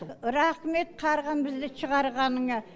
рахмет қарғам бізді шығарғаныңа